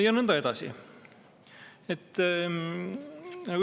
Ja nõnda edasi.